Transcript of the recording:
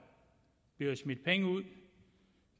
bliver smidt penge ud